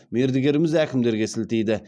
мердігеріміз әкімдерге сілтейді